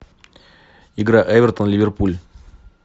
игра эвертон ливерпуль